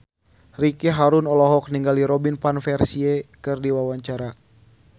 Ricky Harun olohok ningali Robin Van Persie keur diwawancara